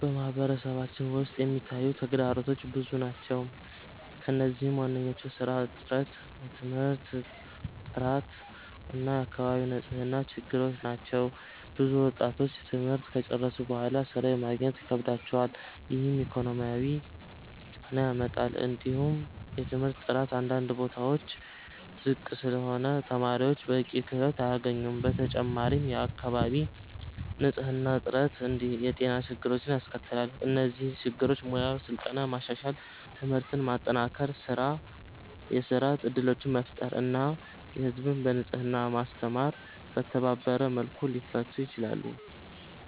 በማህበረሰባችን ውስጥ የሚታዩ ተግዳሮቶች ብዙ ናቸው፣ ከእነዚህም ዋናዎቹ የሥራ እጥረት፣ የትምህርት ጥራት እና የአካባቢ ንጽህና ችግሮች ናቸው። ብዙ ወጣቶች ትምህርት ከጨረሱ በኋላ ሥራ ማግኘት ይከብዳቸዋል፣ ይህም ኢኮኖሚያዊ ጫና ያመጣል። እንዲሁም የትምህርት ጥራት አንዳንድ ቦታዎች ዝቅ ስለሆነ ተማሪዎች በቂ ክህሎት አያገኙም። በተጨማሪም የአካባቢ ንጽህና እጥረት የጤና ችግሮችን ያስከትላል። እነዚህ ችግሮች በሙያ ስልጠና ማሻሻል፣ ትምህርትን ማጠናከር፣ የሥራ እድሎችን መፍጠር እና ህዝብን በንጽህና ማስተማር በተባበረ መልኩ ሊፈቱ ይችላሉ።